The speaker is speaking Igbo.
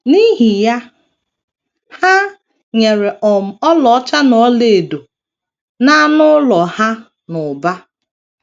N’ihi ya, ha nyere um ọlaọcha na ọlaedo na anụ ụlọ ha n’ụba.